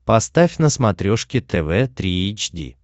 поставь на смотрешке тв три эйч ди